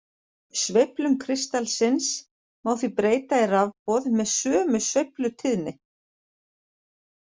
Sveiflum kristallsins má því breyta í rafboð með sömu sveiflutíðni.